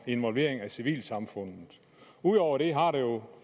involvering af civilsamfundet ud over det har der jo